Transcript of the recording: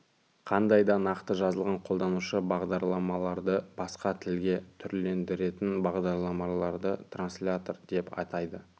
қандай да нақты жазылған қолданушы бағдарламаларды басқа тілге түрлендіретін бағдарламаларды транслятор деп атайды